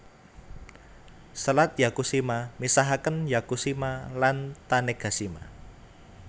Selat Yakushima misahaken Yakushima lan Tanegashima